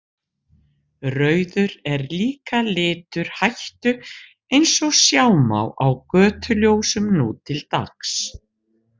Rauður er líka litur hættu eins og sjá má á götuljósum nú til dags.